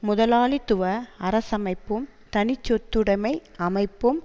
முதலாளித்துவ அரசமைப்பும் தனிச்சொத்துடமை அமைப்பும்